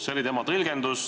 See oli tema tõlgendus.